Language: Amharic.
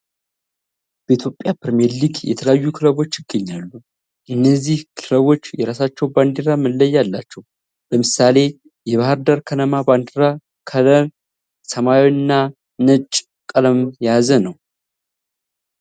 በኢትዮጵያ ፕሪሚየር ሊግ የተለያዩ ክለቦች ይገኛሉ። እነዚህ ክለቦች የራሳቸው ባንዲራ መለያ አላቸው። ለምሳሌ የባህርዳር ከነማ ባንዲራ ከለም ሰማያዊ እና ነጭ ቀለምን የያዘ ነው።